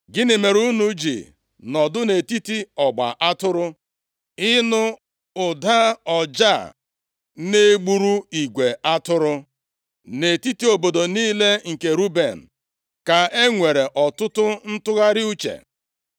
Gịnị mere unu ji nọdụ nʼetiti ọgba atụrụ, ịnụ ụda ọja a na-egburu igwe atụrụ? Nʼetiti obodo niile nke Ruben, ka e nwere ọtụtụ ntụgharị uche.